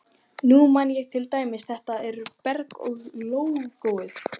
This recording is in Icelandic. Nú man ég til dæmis þetta með Beru og lógóið.